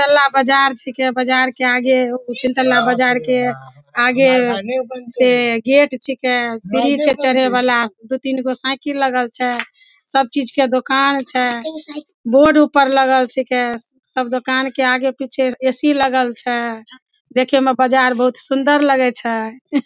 तल्ला बाजार छिके बाजार के आगे तीन तल्ला बाजार के आगे से गेट छिके सीढ़ी छै चढ़े वला दू-तीन गो साइकिल लगल छै सब चीज के दुकान छै बोर्ड ऊपर लगल छिके सब दुकान के आगे-पीछे ए.सी. लगल छै देखे में बाजार बहुत सुंदर लगे छै।